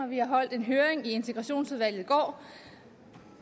vi har holdt en høring i integrationsudvalget i går